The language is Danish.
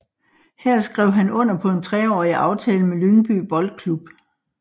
Her skrev han under på en treårig aftale med Lyngby Boldklub